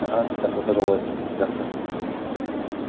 аха жақсылықта жолығайық жақсы